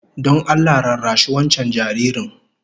Don Allah rarrashi wancan jaririn